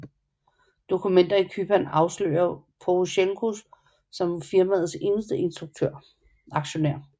Dokumenter i Cypern afslører Porosjenko som firmaets eneste aktionær